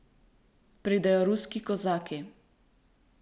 Pridejo ruski kozaki.